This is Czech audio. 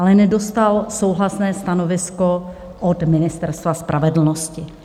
Ale nedostal souhlasné stanovisko od Ministerstva spravedlnosti.